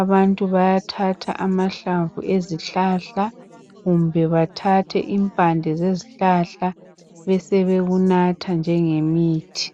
Abantu bayathatha amahlamvu ezihlahla kumbe bathathe impande lezihlahla besebekunatha njengemithi.